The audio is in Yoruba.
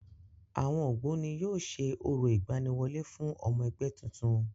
Àwọn Ògbóni yóò ṣe orò ìgbaniwọlé fún ọmọ ẹgbẹ́ tuntun.